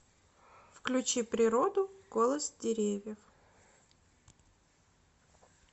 включи природу голос деревьев